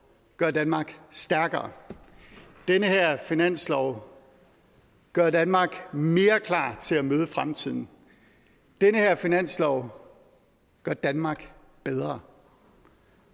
gør danmark stærkere den her finanslov gør danmark mere klar til at møde fremtiden den her finanslov gør danmark bedre